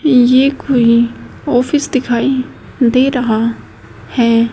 ये कोई ऑफिस दिखाई दे रहा है।